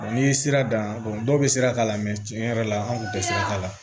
n'i ye sira dan dɔw bɛ sira k'a la tiɲɛ yɛrɛ la an kun tɛ sira t'a la